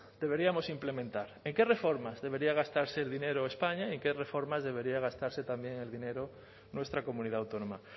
deberíamos implementar en qué reformas debería gastarse el dinero españa y en qué reformas debería gastarse también el dinero nuestra comunidad autónoma